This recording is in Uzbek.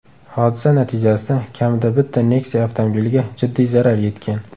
Hodisa natijasida kamida bitta Nexia avtomobiliga jiddiy zarar yetgan.